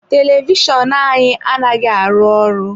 Televishọnụ anyị anaghị arụ ọrụ.